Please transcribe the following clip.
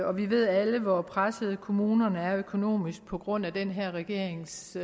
og vi ved alle hvor pressede kommunerne er økonomisk på grund af den her regerings